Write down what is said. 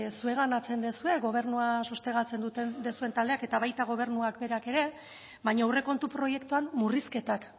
zuenganatzen duzue gobernua sostengatzen duzuen taldeak eta baita gobernuak berak ere baina aurrekontu proiektuan murrizketak